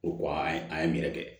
O ko an ye an ye yɛrɛ kɛ